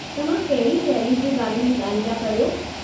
तव्हां कहिड़ी रैली जे, बारे में ॻाल्हि पिया करियो?